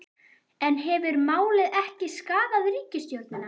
En hefur málið ekki skaðað ríkisstjórnina?